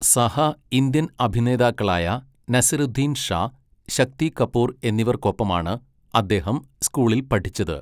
സഹ ഇന്ത്യൻ അഭിനേതാക്കളായ നസീറുദ്ദീൻ ഷാ, ശക്തി കപൂർ എന്നിവർക്കൊപ്പമാണ് അദ്ദേഹം സ്കൂളിൽ പഠിച്ചത്.